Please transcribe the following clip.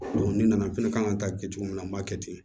ni nana fɛnɛ kan ka taa kɛ cogo min na an b'a kɛ ten